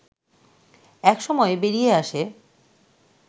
এক সময় বেরিয়ে আসে